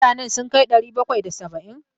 Mutanen sun kai ɗari bakwai da saba'in?